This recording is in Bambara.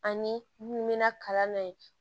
Ani mun bɛna kalan na yen